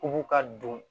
U k'u ka don